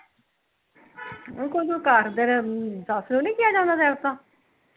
ਓਹਨੂ ਕਹੋ ਘਰ ਤੇਰੇ, ਸੱਸ ਨੂੰ ਨੀ ਕਿਹਾ ਜਾਂਦਾ ਤੇਰੇ ਤੋਂ